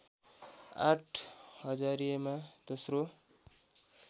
आठ हजारीमा दोश्रो